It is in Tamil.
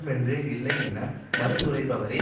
என மறுத்துரைப்பவரைப் பயபேய்களின்